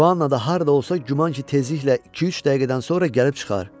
Joanna da harda olsa, güman ki, tezliklə iki-üç dəqiqədən sonra gəlib çıxar.